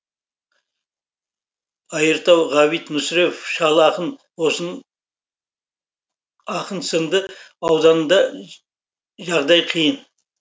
айыртау ғабит мүсірепов шал ақын сынды аудандарда жағдай қиын